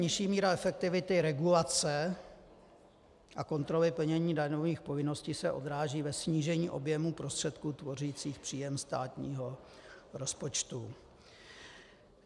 Nižší míra efektivity regulace a kontroly plnění daňových povinností se odráží ve snížení objemu prostředků tvořících příjem státního rozpočtu.